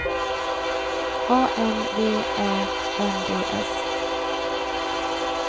A N V Ä N D S